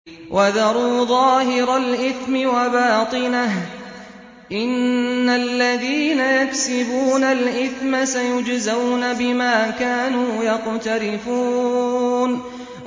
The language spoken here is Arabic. وَذَرُوا ظَاهِرَ الْإِثْمِ وَبَاطِنَهُ ۚ إِنَّ الَّذِينَ يَكْسِبُونَ الْإِثْمَ سَيُجْزَوْنَ بِمَا كَانُوا يَقْتَرِفُونَ